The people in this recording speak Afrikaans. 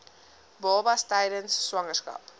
babas tydens swangerskap